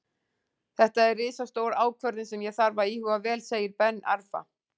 Þetta er risastór ákvörðun sem ég þarf að íhuga vel, segir Ben Arfa.